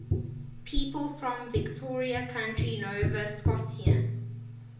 people from victoria county nova scotia